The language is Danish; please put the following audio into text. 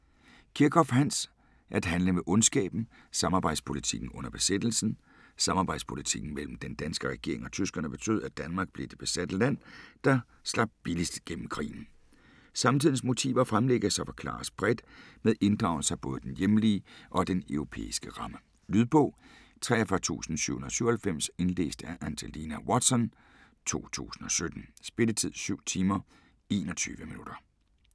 Kirchhoff, Hans: At handle med ondskaben: samarbejdspolitikken under besættelsen Samarbejdspolitikken mellem den danske regering og tyskerne betød, at Danmark blev det besatte land, der slap billigst gennem krigen. Samtidens motiver fremlægges og forklares bredt, med inddragelse af både den hjemlige og den europæiske ramme. Lydbog 43797 Indlæst af Angelina Watson, 2017. Spilletid: 7 timer, 21 minutter.